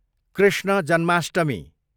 Krishna Janmashtami